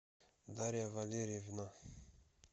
дарья валерьевна